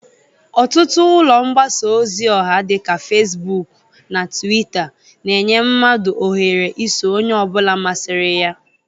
Ọtụtụ ụlọ mbasa ozi ọha dị ka Fesbụk na Twita, na-enye mmadụ ohere iso onye ọbụla masịrị ya.